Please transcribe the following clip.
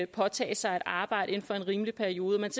påtage sig et arbejde inden for en rimelig periode at